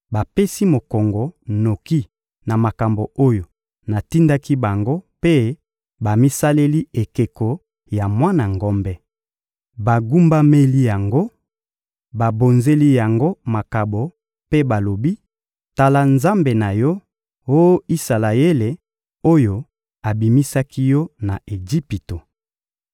bapesi mokongo noki na makambo oyo natindaki bango mpe bamisaleli ekeko ya mwana ngombe. Bagumbameli yango, babonzeli yango makabo mpe balobi: «Tala nzambe na yo, Oh Isalaele, oyo abimisaki yo na Ejipito.»